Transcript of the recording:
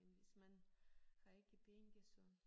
Men hvis man har ikke penge så